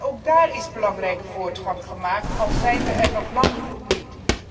Ook daar is belangrijke voortgang gemaakt, al zijn we er nog lang niet.